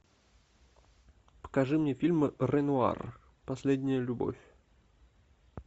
покажи мне фильм ренуар последняя любовь